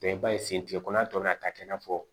i b'a ye sen tigɛkoya tɔ bɛ na taa kɛ i n'a fɔ